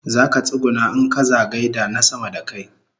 Zaka tsuguna in kaza gaida na sama da kai